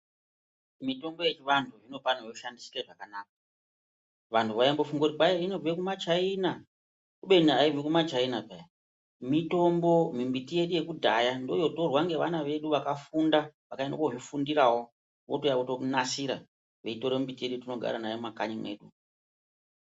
Mitombo yechivantu inofane kushandisike zvakanaka. Vantu vaimbofunge kuti inobve kumaChaina, khubeni aibvi kumachaina, mitombo mimbiti yedu yekudhaya, ndiyo yotorwa ngevana vedu vakafunda vakaende kozvifundirawo votouya vonasira, veitore miti yedu yetinogara nayo mumakanyi medu.